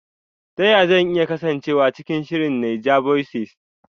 Ta yaya zan iya kasancewa cikin shirin NAIJAVOICES?